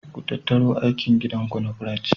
Ku tattaru aikin gida ku na French.